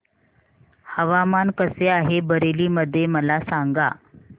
हवामान कसे आहे बरेली मध्ये मला सांगा